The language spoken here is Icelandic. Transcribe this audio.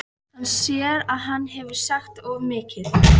Hann sér að hann hefur sagt of mikið.